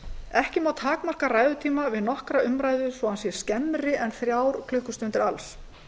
ekki má takmarka ræðutíma við nokkra umræðu svo að hann sé skemmri en þrjár klukkustundir alls